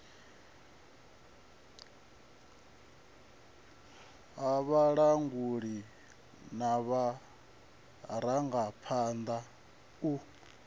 ha vhalanguli na vharangaphanḓa u